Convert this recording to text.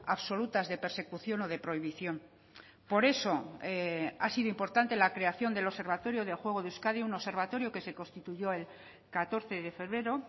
absolutas de persecución o de prohibición por eso ha sido importante la creación del observatorio de juego de euskadi un observatorio que se constituyó el catorce de febrero